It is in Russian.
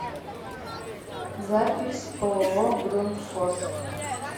запись ооо грундфос